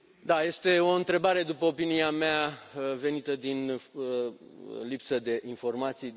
Da, este o întrebare, după opinia mea, venită din lipsă de informații.